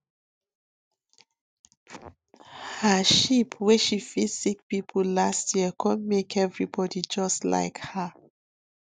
her sheep wey she feed sick people last year come make everybody just like her